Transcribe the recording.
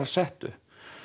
settu